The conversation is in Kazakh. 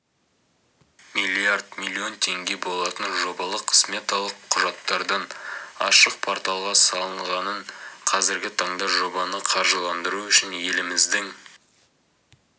миллиард миллион теңге болатын жобалық-сметалық құжаттардың ашық порталға салынғанын қазіргі таңда жобаны қаржыландыру үшін еліміздің